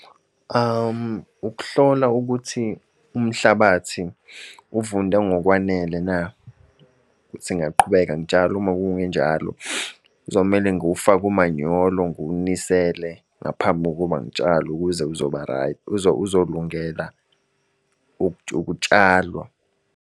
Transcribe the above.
Ukuhlola ukuthi umhlabathi uvunde ngokwanele na, ukuthi ngingaqhubeka ngitshale. Uma kungenjalo, kuzomele ngiwufake umanyolo ngiwunisele ngaphambi kokuba ngitshalo, ukuze uzoba right uzolungela ukutshalwa.